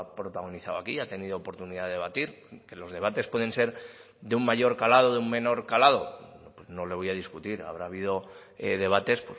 protagonizado aquí y ha tenido oportunidad de debatir que los debates pueden ser de un mayor calado de un menor calado no le voy a discutir habrá habido debates